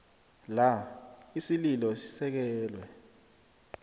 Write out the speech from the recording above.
la isililo sisekelwe